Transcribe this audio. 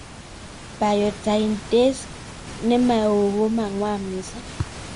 Biotinidase ne maa oo ko mang'wan mising'